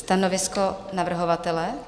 Stanovisko navrhovatele?